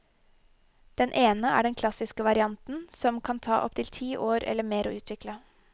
Den ene er den klassiske varianten, som det kan ta opptil ti år eller mer å utvikle.